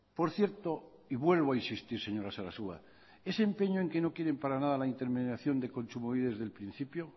por cierto y vuelvo a insistir señora sarasua ese empeño en que no quieren para nada la intermediación de kontsumobide desde el principio